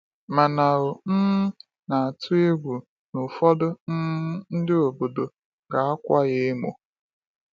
Mana ọ um na-atụ egwu na ụfọdụ um ndị obodo ga-akwa ya emo.